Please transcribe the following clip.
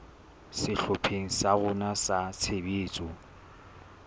sehlopheng sa rona sa tshebetso